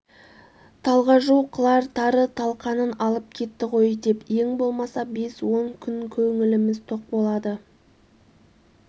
талғажу қылар тары-талқанын алып кетті ғой деп ең болмаса бес-он күн көңіліміз тоқ болады